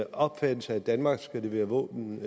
opfattelse at danmark skal levere våben